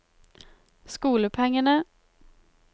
skolepengene